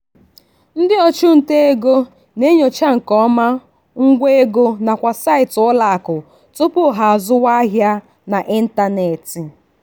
ndị ọchụnta ego na-enyocha nke ọma ngwa ego nakwa saịtị ụlọakụ tupu ha azụwa ahịa n'ịntanetị.